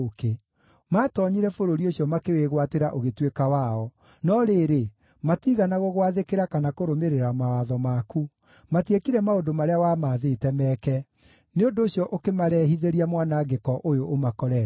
Maatoonyire bũrũri ũcio makĩwĩgwatĩra ũgĩtuĩka wao, no rĩrĩ, matiigana gũgwathĩkĩra kana kũrũmĩrĩra mawatho maku; matiekire maũndũ marĩa wamaathĩte meke. Nĩ ũndũ ũcio ũkĩmarehithĩria mwanangĩko ũyũ ũmakorete.